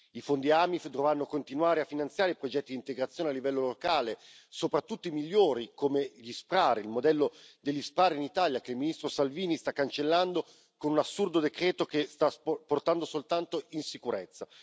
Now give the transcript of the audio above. I fondi AMIF dovranno continuare a finanziare progetti di integrazione a livello locale, soprattutto i migliori, come il modello degli SPRAR in Italia, che il ministro Salvini sta cancellando con un assurdo decreto che sta portando soltanto insicurezza.